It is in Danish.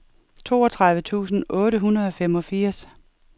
toogtredive tusind otte hundrede og femogfirs